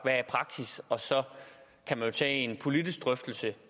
er praksis og så kan man jo tage en politisk drøftelse